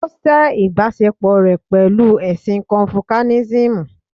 Ó sẹ́ ìbáṣepò rẹ̀ pẹ̀lú ẹ̀sìn Confucianism